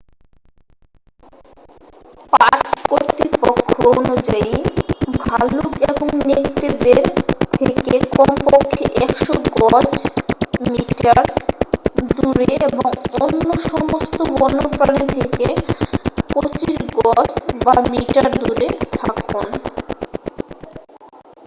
Park কর্তৃপক্ষ অনুযায়ী ভাল্লুক এবং নেকড়েদের থেকে কমপক্ষে 100 গজ/মিটার দূরে এবং অন্য সমস্ত বন্য প্রাণী থেকে 25 গজ/মিটার দূরে থাকুন!